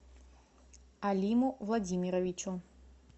алиму владимировичу